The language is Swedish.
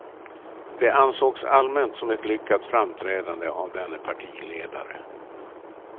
Det ansågs allmänt som ett lyckat framträdande av denne partiledare.